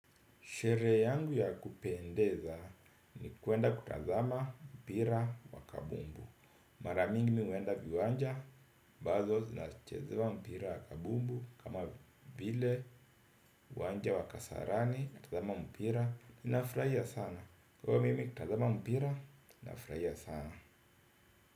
Sherehe yangu ya kupendeza ni kwenda kutazama mpira wa kabumbu. Mara mingi huenda viwanja, ambazo zinachezewa mpira wa kabumbu kama vile uwanja wa kasarani, kutazama mpira, inafurahia sana. Kuwa mimi, kutazama mpira, nafurahiiasana.